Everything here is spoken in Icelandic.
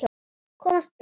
Komast burt.